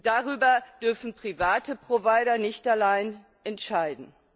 Darüber dürfen private Provider nicht allein entscheiden.